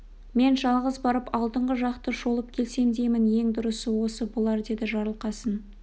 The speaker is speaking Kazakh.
мен жалғыз барып алдыңғы жақты шолып келсем деймін ең дұрысы осы болар деді жарылқасын